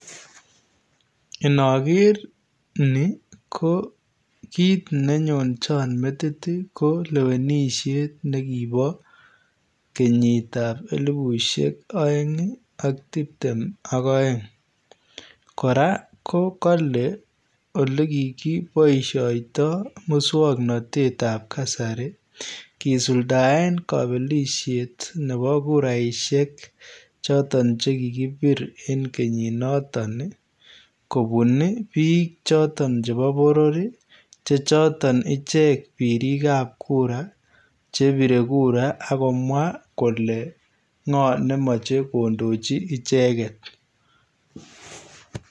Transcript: Inageer ni ko kiit ne nyoonjaan metit ii ko lewenisheet nekiboo kenyiit ab elisheek aeng ii ak tipteem ak aeng kora ko kale ole kibaishaitoi musangnatet ab kasari kisultaen kapelisheet nebo kuraisheek chotoon che kikibiir en kenyiit notoon ii kobuun ii biik chotoon ii chebo boror chotoon icheek biriik ab kura chebire kura agomwa kole ngo ne machei kondicho ichegeet.